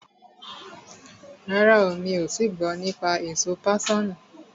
Rárá, mi ò tii gbọ́ nípa èso páṣọ̀nù.